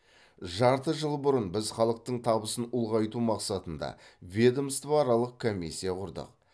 жарты жыл бұрын біз халықтың табысын ұлғайту мақсатында ведомствоаралық комиссия құрдық